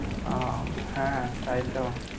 ও, হ্যাঁ তাই তো।